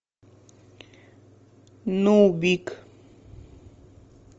нубик